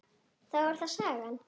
Þá er það sagan.